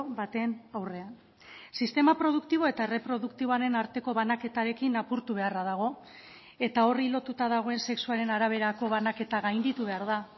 baten aurrean sistema produktibo eta erreproduktiboaren arteko banaketarekin apurtu beharra dago eta horri lotuta dagoen sexuaren araberako banaketa gainditu behar da